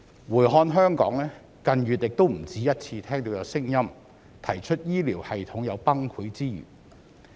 回看香港，近月也不止一次聽到有聲音提出，香港醫療系統有崩潰之虞。